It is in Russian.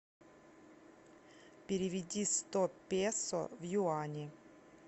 переведи сто песо в юани